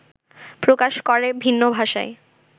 প্রকাশ করে ভিন্ন ভাষায়